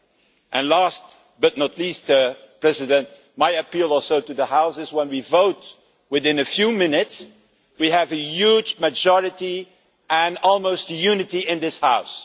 And last but not least, my appeal also to the House is that, when we vote within a few minutes, we have a huge majority and almost unity in this House.